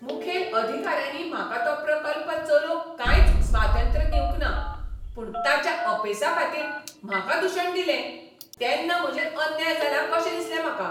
मुखेल अधिकाऱ्यांनी म्हाका तो प्रकल्प चलोवंक कांयच स्वातंत्र्य दिवंक ना. पूण ताच्या अपेसाखातीर म्हाका दुशण दिलें. तेन्ना म्हजेर अन्याय जाला कशें दिसलें म्हाका.